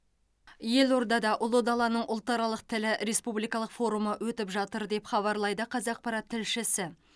елордада ұлы даланың ұлтаралық тілі республикалық форумы өтіп жатыр деп хабарлайды қазақпарат тілшісі